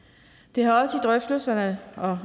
det har også i drøftelserne og